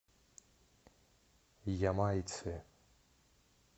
ямайцы